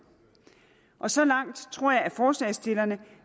så langt tror jeg at forslagsstillerne